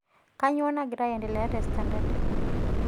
kanyoo nagira aendelea te standard